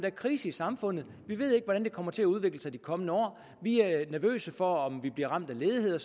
er krise i samfundet vi ved ikke hvordan det kommer til at udvikle sig i de kommende år vi er nervøse for om vi bliver ramt af ledighed